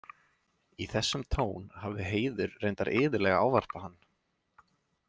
Í þessum tón hafði Heiður reyndar iðulega ávarpað hann.